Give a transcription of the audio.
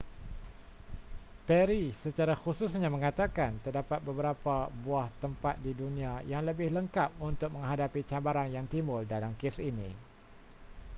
perry secara khususnya mengatakan terdapat beberapa buah tempat di dunia yang lebih lengkap untuk menghadapi cabaran yang timbul dalam kes ini